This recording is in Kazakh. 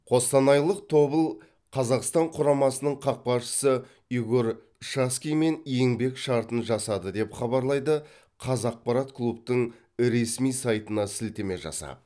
қостанайлық тобыл қазақстан құрамасының қақпашысы игорь шацкиймен еңбек шартын жасады деп хабарлайды қазақпарат клубтың ресми сайтына сілтеме жасап